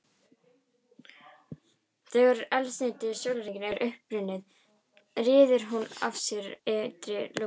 Þegar eldsneyti sólarinnar er uppurið ryður hún af sér ytri lögunum.